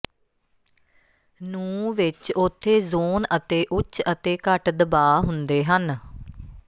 ਨੂੰ ਵਿਚ ਉੱਥੇ ਜ਼ੋਨ ਅਤੇ ਉੱਚ ਅਤੇ ਘੱਟ ਦਬਾਅ ਹੁੰਦੇ ਹਨ